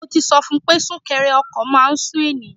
Mo ti sọ fun pé súnkẹrẹ ọkọ̀ máà ń sú ènìyàn.